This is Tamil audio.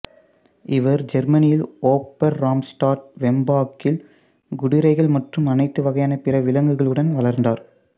இவர் ஜெர்மனியில் ஓபர்ராம்ஸ்டாட் வெம்பாக்கில் குதிரைகள் மற்றும் அனைத்து வகையான பிற விலங்குகளுடன் வளர்ந்தார்